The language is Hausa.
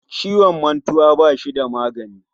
Ciwon mantuwa bashi da magani